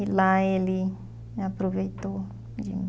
E lá ele aproveitou de mim.